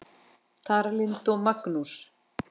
Tara Lynd og Magnús.